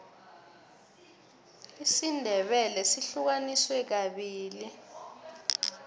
isindebele sihlukaniswe kabili